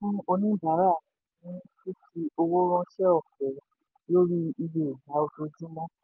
oníbàárà ní fífi owó ránṣẹ́ ọ̀fẹ́ lórí iye ìgbà ojoojúmọ́.